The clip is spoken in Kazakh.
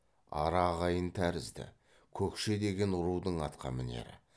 ара ағайын тәрізді көкше деген рудың атқамінері